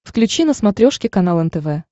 включи на смотрешке канал нтв